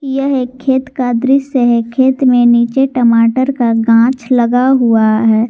यह एक खेत का दृश्य है खेत में नीचे टमाटर का गांछ लगा हुआ है।